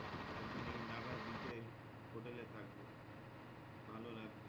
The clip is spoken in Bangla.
আর একদিন ওই নাগার beech এর হোটেলে থাকবো ভালো লাগবে,